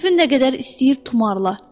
kefin nə qədər istəyir tumarla.